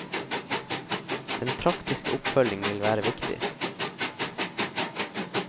Den praktiske oppfølging vil være viktig.